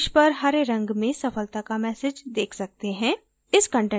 हम शीर्ष पर हरे रंग में सफलता का message देख सकते हैं